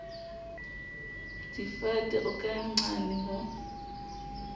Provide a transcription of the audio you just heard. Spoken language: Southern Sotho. difate o ka nqane ho